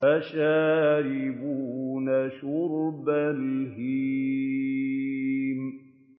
فَشَارِبُونَ شُرْبَ الْهِيمِ